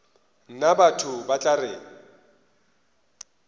nna batho ba tla re